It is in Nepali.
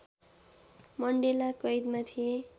मण्डेला कैदमा थिए